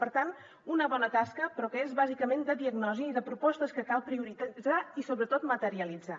per tant una bona tasca però que és bàsicament de diagnosi i de propostes que cal prioritzar i sobretot materialitzar